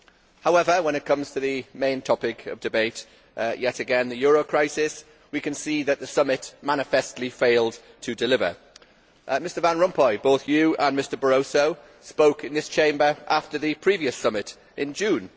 However, when it comes to the main topic of debate yet again the euro crisis we can see that the summit manifestly failed to deliver. Both Mr Van Rompuy and Mr Barroso spoke in this Chamber after the previous summit in June.